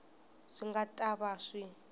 swi nga ta va swi